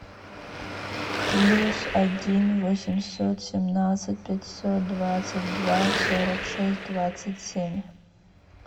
плюс один восемьсот семнадцать пятьсот двадцать два сорок шесть двадцать семь